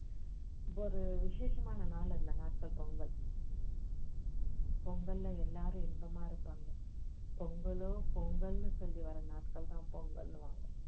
ஒரு விஷேசமான நாள் அந்த நாட்கள் பொங்கல் பொங்கல்ல எல்லாரும் இன்பமா இருப்பாங்க பொங்கலோ பொங்கலுன்னு சொல்லி வர்ற நாட்கள் தான் பொங்கலுன்னுவாங்க